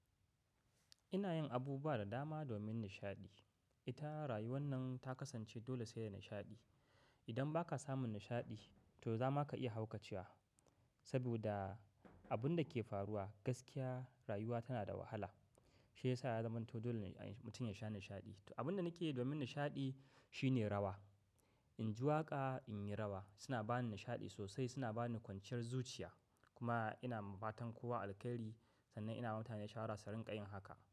Ina yin abu ba da dama domin nishaɗi. Ita rayuwar nan ta kasance dole sai da nishaɗi. Idan ba ka samun nishaɗi to za ma ka iya haukacewa. Saboda abun da ke faruwa gaskiya rayuwa tana da wahala. Shi ya sa ya zamanto dole mutum ya sha nishaɗi. Abin da nake yi domin nishaɗi shine rawa. In ji waƙa, in yi rawa suna ba ni nishaɗi sosai. Suna ba ni kwanciyar zuciya. Kuma ina mafatan kowa alkairi sannan ina mutane shawarar rinƙa yin haka.